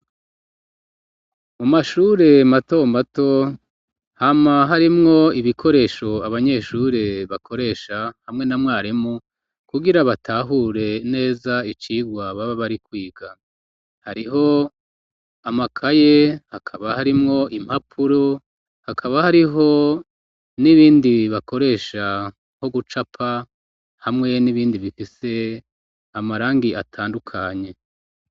Mu mashure mato mato hama harimwo ibikoresho abanyeshure bakoresha hamwe na mwaremu kugira batahure neza icigwa baba bari kwiga, hariho amakaye hakaba harimwo impapuro hakaba hariho n'ibindi bakoresha nko gucapa hamwe n'ibindi bifise amarangi atandukanye.